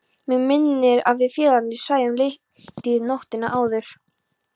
Mig minnir að við félagarnir svæfum lítið nóttina áður.